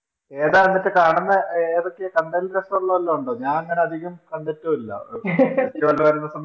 ഏതാ എന്നിട്ട് കാണുന്നെ ഏതൊക്കെയാ കണ്ടതിനുശേഷം ഉള്ളത് ഉണ്ടോ ഞാനെങ്ങനെ അധികം കണ്ടിട്ടുമില്ല